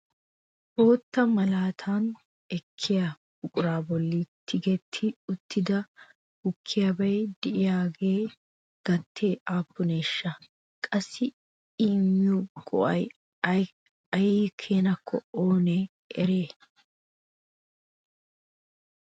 bootta malatana ekkiya buqura bolli tigeti uttida gukkiyabay de'iyaagayo gatee aappuneshsha? qassi I immiyo go''aykka ay keenakko oone eriyay ?